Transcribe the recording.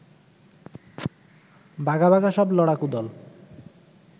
বাঘা বাঘা সব লড়াকু দল